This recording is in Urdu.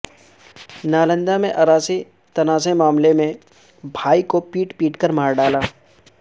نالندہ میں اراضی تنازعہ معاملے میں بھائی کو پیٹ پیٹ کر مار ڈالا